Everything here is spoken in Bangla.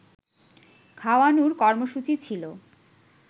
খাওয়ানোর কর্মসূচী ছিল